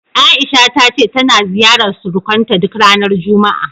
A'isha ta ce tana ziyarar surukanta duk ranar juma'a.